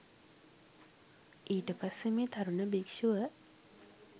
ඊටපස්සේ මේ තරුණ භික්ෂුව